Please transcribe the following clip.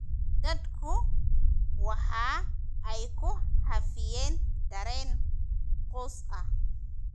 Dadku waxa ay ku hafiyeen dareen quus ah.